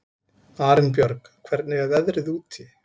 Arinbjörg, hvernig er veðrið úti?